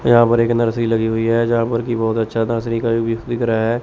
यहां पर एक नर्सरी लगी हुई है जहां पर की बहोत अच्छा नर्सरी का व्यू भी दिख रहा है।